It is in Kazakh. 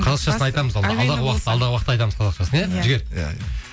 қазақшасын айтамыз алдағы уақытта айтамыз қазақшасын иә жігер иә иә